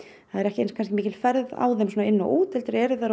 það er ekki eins mikil ferð á þeim inn og út heldur eru þær